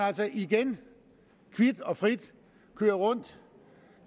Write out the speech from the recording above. altså igen kvit og frit køre rundt